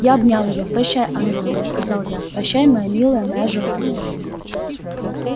я обнял её прощай ангел мой сказал я прощай моя милая моя желанная